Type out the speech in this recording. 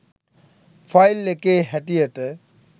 file එකේ හැටියට